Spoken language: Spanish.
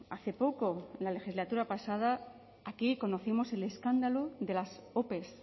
hace poco en la legislatura pasada aquí conocemos el escándalo de las ope